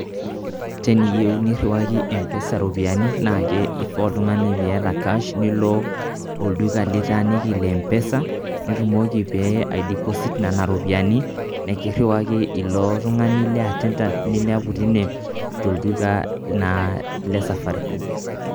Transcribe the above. Teniyeu niriwaki mpesa iropiani naake ifaa oltung'ani niyata [cash] nilo olduka litaaniki le mpesa nitumoki pee aideposit nena ropiani, nekiriwa ilo tung'ani le [attendant] linepu tine tolduka naa le safaricom.